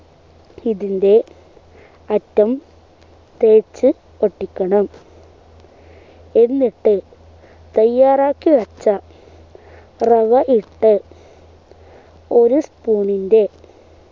ഇതിൻ്റെ അറ്റം തേച്ചു ഒട്ടിക്കണം എന്നിട്ട് തയ്യാറാക്കി വച്ച റവ ഇട്ട് ഒരു spoon ൻ്റെ